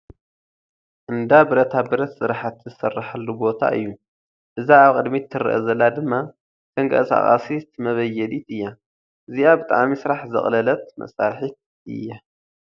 እንዳ ብረታ ብረት ስራሕቲ ዝስረሓሉ ቦታ እዩ ፡ እዛ ኣብ ቕድሚት ትረኣ ዘላ ድማ ተንቐሳቓሲት መቨየዲት እያ እዚኣ ብጣዕሚ ስራሕ ዘቕለለት መሳርሒት እያ ።